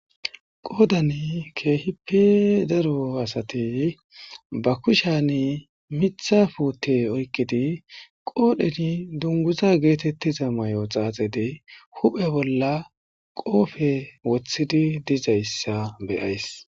Qodani keehipe daro asati miththa puute be kushen oykidi qoodheni dunguza giza mayo xaaxidi, huphe bolla qoofe woththidi dizaysa be'ays.